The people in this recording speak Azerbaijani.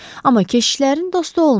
Amma keşişlərin dostu olmur.